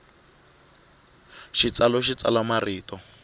xitsalu xi tsala marito